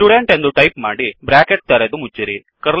student ಎಂದು type ಮಾಡಿ bracket ತೆರೆದು ಮುಚ್ಚಿರಿ